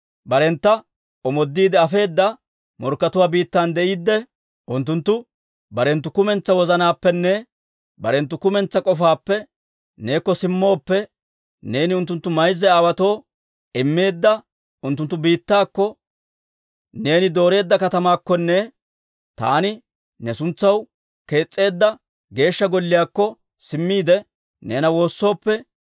barentta omoodiide afeedda morkkatuwaa biittan de'iidde, unttunttu barenttu kumentsaa wozanaappenne barenttu kumentsaa k'ofaappe neekko simmooppe, neeni unttunttu mayza aawaatoo immeedda unttunttu biittaakko, neeni dooreedda katamaakkonne taani ne suntsaw kees's'eedda Geeshsha Golliyaakko simmiide, neena woossooppe,